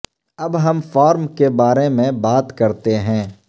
اب ہم فارم کے بارے میں بات کرتے ہیں